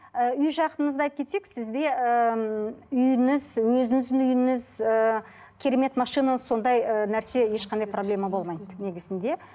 і үй жағыңызда кетсек сізде ыыы үйіңіз өзіңіздің үйіңіз ыыы керемет машина сондай ы нәрсе ешқандай проблема болмайды негізінде